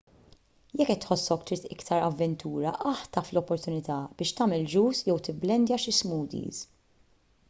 jekk qed tħossok trid iktar avventura aħtaf l-opportunità biex tagħmel juice jew tibblendja xi smoothies